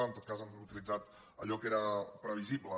en tot cas han utilitzat allò que era previsible